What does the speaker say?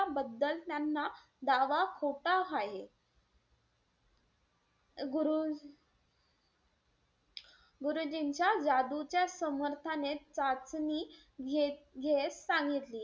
बद्दल त्यांना दावा खोटा हाहे. गुरु गुरुजींच्या जादूच्या समर्थाने चाचणी घेत- घेत सांगितले.